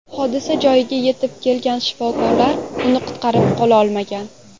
Hodisa joyiga yetib kelgan shifokorlar uni qutqarib qololmagan.